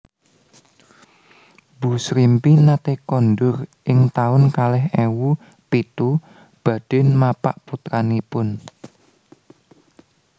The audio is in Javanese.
Bu Srimpi nate kondur ing taun kalih ewu pitu badhe mapak putranipun